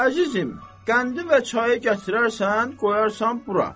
Əzizim, qəndi və çayı gətirərsən, qoyarsan bura.